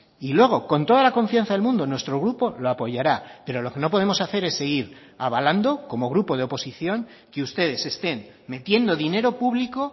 y luego con toda la confianza del mundo nuestro grupo lo apoyará pero lo que no podemos seguir es avalando como grupo de oposición que ustedes estén metiendo dinero público